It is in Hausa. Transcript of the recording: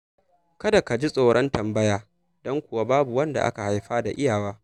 Kada ka ji tsoron tambaya, don kuwa babu wanda aka haifa da iyawa.